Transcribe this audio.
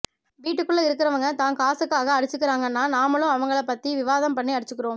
வீட்டுக்குள்ள இருக்குறவுங்க தான் காசுக்காக அடிச்சிக்கிறாங்கன்னா நாமளும் அவங்களைப் பத்தி விவாதம் பண்ணி அடிச்சுக்கிறோம்